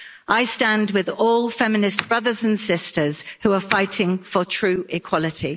I stand with all feminist brothers and sisters who are fighting for true equality.